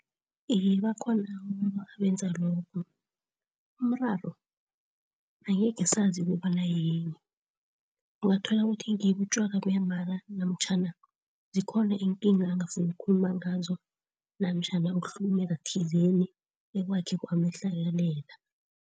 Iye, bakhona labo abenza lobo. Umraro angekhe sazi ukobana yini? Ungathola ukuthi ngibo utjwala buyamala, namtjhana zikhona iinkinga angafuni ukukhuluma ngazo, namtjhana ukuhlukumeza thizeni ekwakhe kwamehlakalela.